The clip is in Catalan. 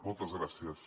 moltes gràcies